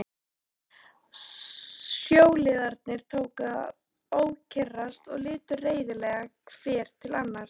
Sjóliðarnir tóku að ókyrrast og litu reiðilega hver til annars.